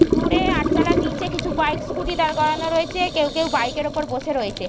দূরে আটচালার নিচে কিছু বাইক স্কুটি দাঁড় করানো রয়েছে কেউ কেউ বাইক -এর ওপর বসে রয়েছে।